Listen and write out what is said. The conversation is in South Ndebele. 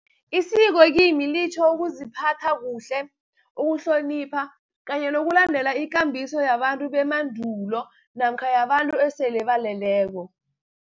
Isiko kimi litjho ukuziphatha kuhle, ukuhlonipha, kanye nokulandela ikambiso yabantu bemandulo, namkha yabantu esele baleleko.